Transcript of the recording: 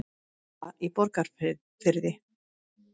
Baula í Borgarfirði.